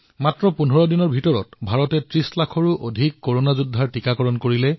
কেৱল ১৫ দিনতেই ভাৰতে ৩০ লাখতকৈও অধিক কৰোনা যোদ্ধাৰ টীকাকৰণ কৰিছে